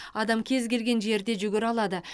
адам кез келген жерде жүгіре алады